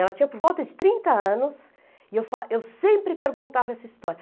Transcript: Ela tinha por volta de trinta anos e eu fa eu sempre perguntava essa história.